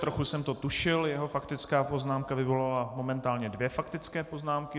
Trochu jsem to tušil, jeho faktická poznámka vyvolala momentálně dvě faktické poznámky.